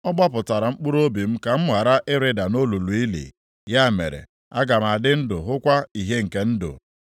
ọ gbapụtara mkpụrụobi m ka m ghara ịrịda nʼolulu ili, ya mere aga m adị ndụ hụkwa ìhè nke ndụ.’